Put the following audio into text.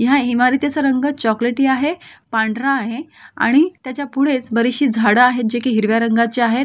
ह्या इमारतीचा रंग चॉकलेटी आहे पांढरा आहे आणि त्याच्या पुढेच बरीचशी झाडं आहेत जे की हिरव्या रंगाची आहेत.